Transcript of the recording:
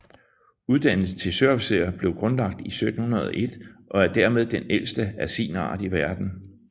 Uddannelsen til søofficer blev grundlagt i 1701 og er dermed den ældste af sin art i verden